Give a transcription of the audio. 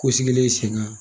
Ko sigilen senna